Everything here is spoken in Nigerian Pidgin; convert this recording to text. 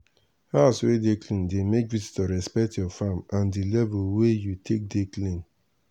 house wey clean dey make visitor respect your farm and di level wey you take dey clean.